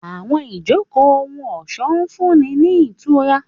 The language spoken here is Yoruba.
Àwọn ijoko ohun-ọṣọ ń funni ni itura.